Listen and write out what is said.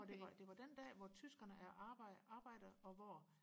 for det var det var den dag hvor tyskerne arbejder arbejder og hvor